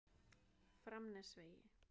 Framnesvegi